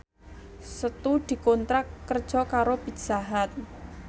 Setu dikontrak kerja karo Pizza Hut